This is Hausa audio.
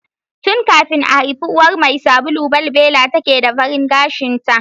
Tun kafin a haifi uwar mai sabulu, balbela take da farin gashinta.